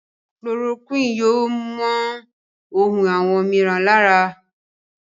Chloroquine yóò món hùn àwọn míràn lára.